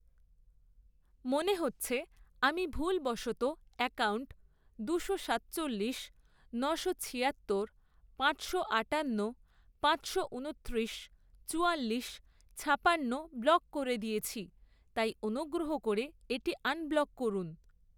মনে হচ্ছে আমি ভুলবশত অ্যাকাউন্ট দুশো সাতচল্লিশ, নশো ছিয়াত্তর, পাঁচশো আটান্ন, পাঁচশো উনত্রিশ, চুয়াল্লিশ, ছাপান্ন ব্লক করে দিয়েছি, তাই অনুগ্রহ করে এটি আনব্লক করুন।